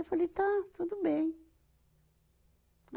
Eu falei, tá, tudo bem.